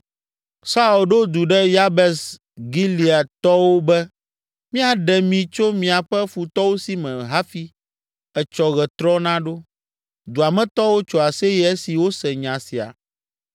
Saul ɖo du ɖe Yabes Gileadtɔwo be, “Míaɖe mi tso miaƒe futɔwo si me hafi etsɔ ɣetrɔ naɖo!” Dua me tɔwo tso aseye esi wose nya sia.